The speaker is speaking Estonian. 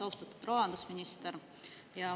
Austatud rahandusminister!